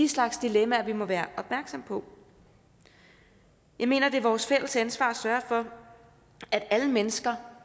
slags dilemmaer vi må være opmærksomme på jeg mener at det er vores fælles ansvar at sørge for at alle mennesker